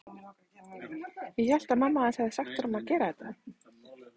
Ég hélt að mamma hans hefði sagt honum að gera þetta.